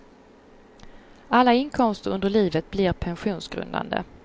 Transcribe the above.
Alla inkomster under livet blir pensionsgrundande.